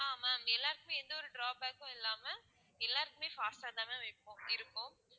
ஆஹ் ma'am எல்லாருக்குமே எந்தவொரு drawback ம் இல்லாம எல்லாருக்குமே fast ஆ தான் ma'am இருக்கும் இருக்கும்